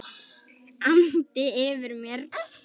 andi yfir mér.